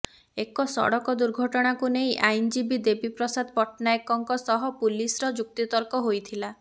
ଏକ ସଡ଼କ ଦୁର୍ଘଟଣାକୁ ନେଇ ଆଇନଜୀବୀ ଦେବୀପ୍ରସାଦ ପଟ୍ଟନାୟକଙ୍କ ସହ ପୁଲିସର ଯୁକ୍ତିତର୍କ ହୋଇଥିଲା